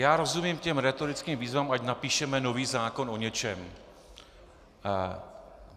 Já rozumím těm rétorickým výzvám, ať napíšeme nový zákon o něčem.